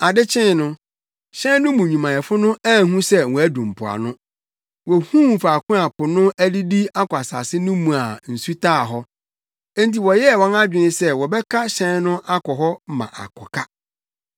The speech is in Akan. Ade kyee no, hyɛn no mu nnwumayɛfo no anhu sɛ wɔadu mpoano. Wohuu faako a po no adidi akɔ asase no mu a nsu taa hɔ. Enti wɔyɛɛ wɔn adwene sɛ wɔbɛka hyɛn no akɔ hɔ ama akɔka.